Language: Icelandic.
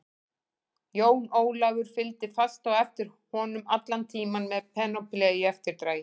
Jón Ólafur fylgdi fast á eftir honum allan tímann með Penélope í eftirdragi.